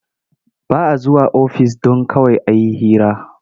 Ba a zuwa ofis don kawai a yi hira.